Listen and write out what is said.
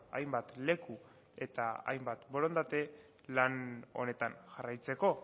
hainbat leku eta hainbat borondate lan honetan jarraitzeko